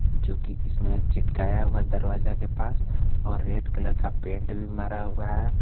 जो कि इसमें चिपकाया हुआ दरवाजा के पास और रेड कलर का पेंट भी मारा हुआ है।